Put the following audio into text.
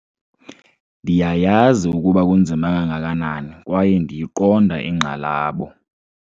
Ndiyayazi ukuba kunzima kangakanani kwaye ndiyiqonda inkxalabo